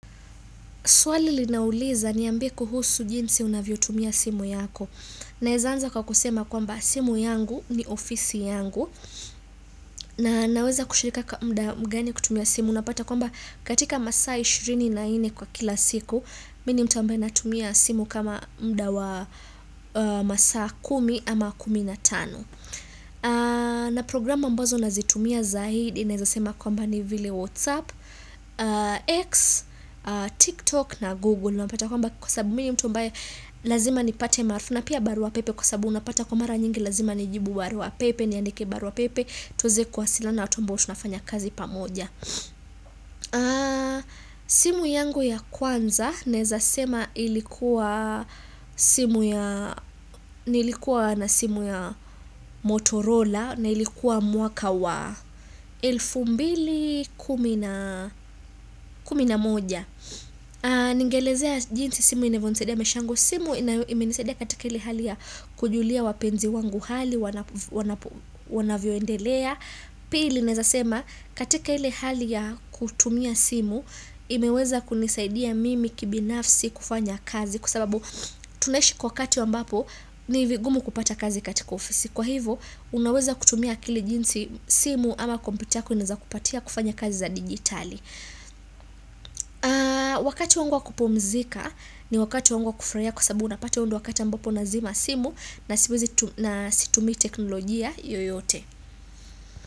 Swali linauliza niambie kuhusu jinsi unavyotumia simu yako. Naeza anza kwa kusema kwamba simu yangu ni ofisi yangu. Na naweza kushirika kwa mda mgani kutumia simu. Napata kwamba katika masaa 24 kwa kila siku. Mimi ni mtu ambaye natumia simu kama mda wa masaa 10 ama 15. Na programu ambazo nazitumia zaidi. Naweza sema kwamba ni vile WhatsApp, X, TikTok na Google Kwa sababu mimi mtu ambaye Lazima nipate marfu na pia barua pepe Kwa sababu unapata kwa mara nyingi lazima nijibu barua pepe niandike barua pepe tuweze kuwasiliana na watu ambao tunafanya kazi pamoja simu yangu ya kwanza Naweza sema ilikuwa simu ya Nilikuwa na simu ya Motorola na ilikuwa mwaka wa elfu mbili kumi na kumi na moja ningelezea jinsi simu inavyonisaidia maisha yangu, simu imenisaidia katika ile hali ya kujulia wapenzi wangu hali wanavyoendelea pili neweza sema katika ile hali ya kutumia simu imeweza kunisaidia mimi kibinafsi kufanya kazi kusababu tunaishi kwa wakati ambapo ni vingumu kupata kazi katika ofisi kwa hivo unaweza kutumia akili jinsi simu ama kompyuta yako inaweza kupatia kufanya kazi za digitali wakati wangu wa kupumzika ni wakati wangu wa kutulia kwa sababu unapata huu ndiyo wakati ambapo nazima simu na situmii teknolojia yoyote.